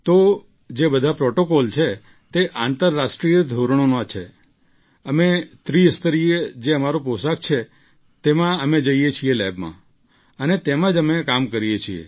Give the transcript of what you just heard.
તો જે બધા પ્રૉટોકોલ છે તે આંતરરાષ્ટ્રીય ધોરણોના છે અમે ત્રિસ્તરીય જે અમારો પોશાક છે તેમાં અમે જઈએ છીએ લેબમાં અને તેમાં જ અમે કામ કરીએ છીએ